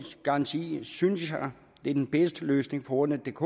garanti synes jeg er den bedste løsning for ordnetdk